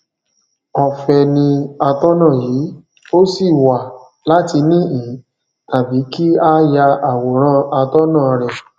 ọfẹ ní atọnà yìí o sì wà láti nihin tàbí kí a ya àwòrán atọnà rẹ